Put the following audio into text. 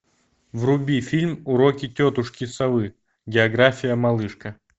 вруби фильм уроки тетушки совы география малышка